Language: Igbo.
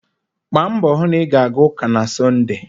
Gbaa mbọ hụ na ị ga-aga ụka na Sọnde.